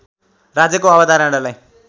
राज्यको अवधारणालाई